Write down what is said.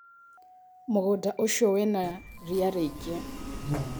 Mũgũnda ũcio wĩna ria rĩingĩ.